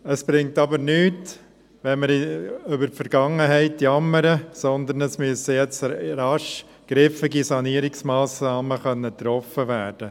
Es bringt aber nichts, über die Vergangenheit zu jammern, vielmehr müssen jetzt rasch griffige Sanierungsmassnahmen getroffen werden.